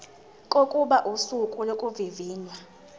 kokuba usuku lokuvivinywa